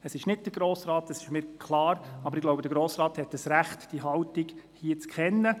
Es ist nicht der Grosse Rat, das ist mir klar, aber ich denke, der Grosse Rat hat das Recht, diese Haltung zu kennen.